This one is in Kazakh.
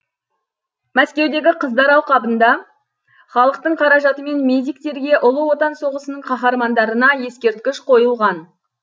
мәскеудегі қыздар алқабында халықтың қаражатымен медиктерге ұлы отан соғысының қаһармандарына ескерткіш қойылған